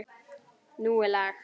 Nú er lag.